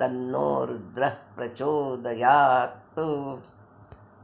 तन्नो रुद्रः प्रचोदयात्